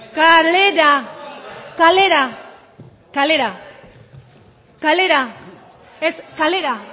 kalera kalera kalera kalera ez kalera